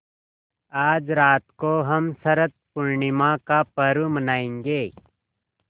आज रात को हम शरत पूर्णिमा का पर्व मनाएँगे